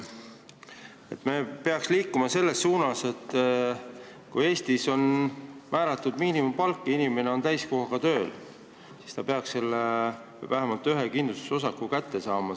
Me peaks liikuma selles suunas, et kui Eestis on määratud miinimumpalk ja inimene on selle palga eest täiskohaga tööl, siis ta peaks vähemalt ühe kindlustusosaku kirja saama.